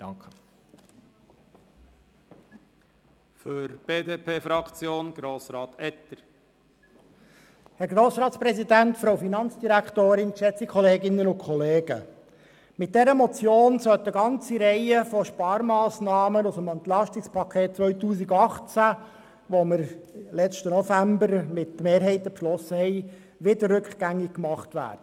Mit dieser Motion soll eine ganze Reihe von Sparmassnahmen aus dem EP 2018, das wir letzten November mit Mehrheiten verabschiedet haben, wieder rückgängig gemacht werden.